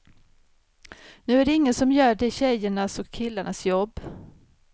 Nu är det ingen som gör de tjejernas och killarnas jobb.